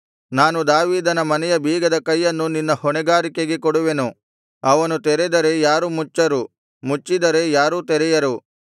ನಾನು ದಾವೀದನ ಮನೆಯ ಬೀಗದ ಕೈಯನ್ನು ನಿನ್ನ ಹೊಣೆಗಾರಿಕೆಗೆ ಕೊಡುವೆನು ಅವನು ತೆರೆದರೆ ಯಾರೂ ಮುಚ್ಚರು ಮುಚ್ಚಿದರೆ ಯಾರೂ ತೆರೆಯರು